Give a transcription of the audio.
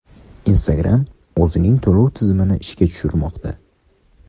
Instagram o‘zining to‘lov tizimini ishga tushirmoqda.